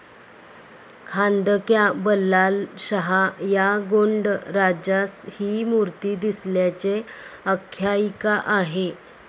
खांद्क्या बल्लालशाह या गोंड राजास ही मूर्ती दिसल्याची आख्यायिका आहे.